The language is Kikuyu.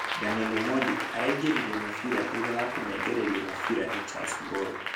Daniel Omondi araingĩririe mũbira thutha wa kũnengererio mũbira ni Charles Mburu.